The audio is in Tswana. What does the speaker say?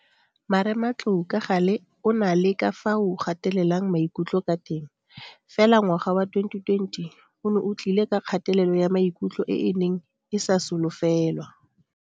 Marematlou ka gale o na le ka fao o gatelelang maikutlo ka teng, fela ngwaga wa 2020 one o tlile ka kgatelelo ya maikutlo e e neng e sa solofelwa.